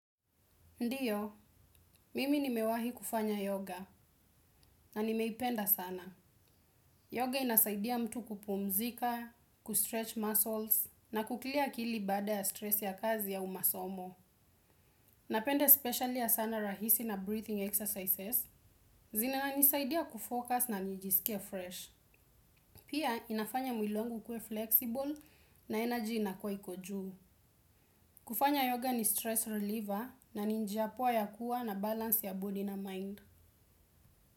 Ndiyo, mimi nimewahi kufanya yoga na nimeipenda sana. Yoga inasaidia mtu kupumzika, kustretch muscles, na kuclear akili baada ya stress ya kazi au masomo. Napende especially ya sana, rahisi na breathing exercises, zinanisaidia kufocus na nijisikie fresh. Pia inafanya mwili wangu ukue flexible na energy inakuwa iko juu. Kufanya yoga ni stress reliever na ni njia poa ya kuwa na balance ya body na mind.